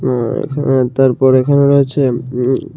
উম উম তারপর এখানে রয়েছে উম--